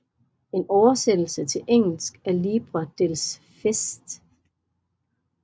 En oversættelse til engelsk af Libre dels fets